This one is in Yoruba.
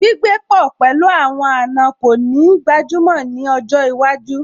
Gbígbé pọ̀ pẹ̀lú àwọn àna kò ní gbajúmọ̀ ní ọjọ́ iwájú